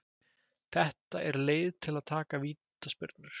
Þetta er leið til að taka vítaspyrnur.